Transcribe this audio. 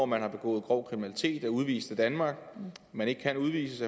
man har begået grov kriminalitet og er udvist af danmark men ikke kan udvises